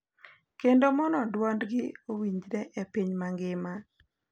Kendo mondo dwolgi owinjre e piny mangima,